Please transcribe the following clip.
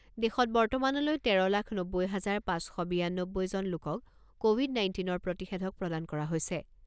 দেশত বৰ্তমানলৈ তেৰ লাখ নব্বৈ হাজাৰ পাঁচ শ বিয়ানব্বৈজন লোকক ক'ভিড নাইণ্টিনৰ প্ৰতিষেধক প্ৰদান কৰা হৈছে।